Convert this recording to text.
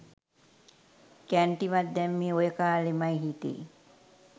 කැන්ටිමක් දැම්මේ ඔය කාලෙ මයෙ හිතේ.